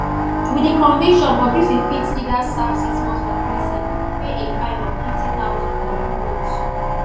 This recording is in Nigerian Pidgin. wit di conviction bobrisky fit either serve six months for prison pay a fine of nfifty thousand or do both